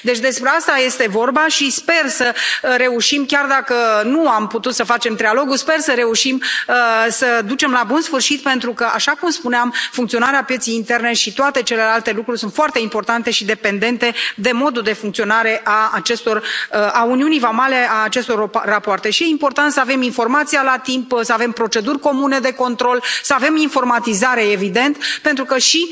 Despre asta este vorba și sper să reușim, chiar dacă nu am putut să facem trilogul, sper să reușim să ducem la bun sfârșit procesul, pentru că, așa cum spuneam, funcționarea pieței interne și toate celelalte lucruri sunt foarte importante și dependente de modul de funcționare al uniunii vamale, al acestor rapoarte și e important să avem informația la timp, să avem proceduri comune de control, să avem informatizare, evident, pentru că și